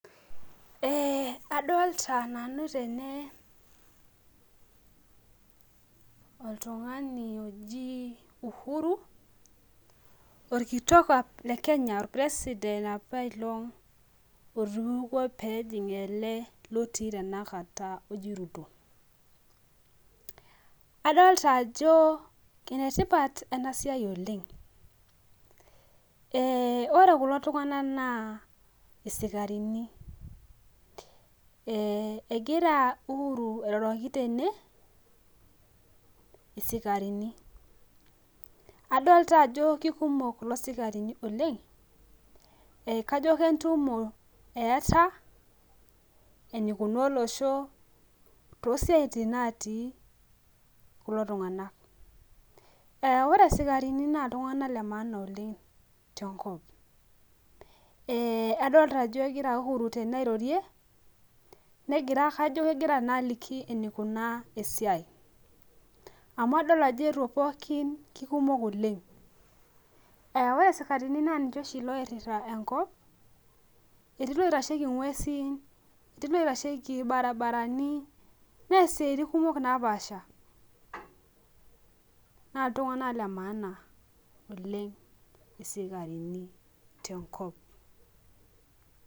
Ee adolta nanu tene oltungani oji uhuru orkitok le kenya orpresident apailong otupukuo pejing elebotii tanakata oji ruto adolta ajo enetipat ena siai oleng, egira uhuru airoroki isikarini adolta ajo kekumok kulo sikarini oleng kajo kentumi eeta enikuna olosho tosiatini natii kulo tunganak ore sikarini na ltunganak le maana oleng tenkop adolta ajo egira uhuru airorie tene kajo kegira aliki enikunaa esiai amu adolta ajo eetuo pooki kekumok oleng ore sikarini na ninche oingurita enkop etii loitashieki ngwesi, etiu loingurita irbaribarani neas siaitin kumok napaasha na ltunganak le maana oleng sikarini tenkop.